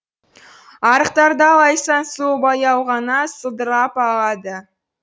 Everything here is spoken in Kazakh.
арықтарда лайсаң су баяу ғана сылдырап ағады